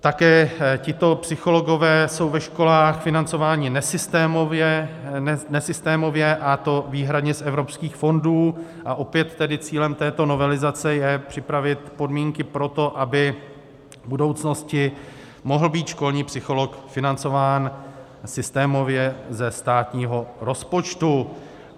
Také tito psychologové jsou ve školách financováni nesystémově, a to výhradně z evropských fondů, a opět tedy cílem této novelizace je připravit podmínky pro to, aby v budoucnosti mohl být školní psycholog financován systémově ze státního rozpočtu.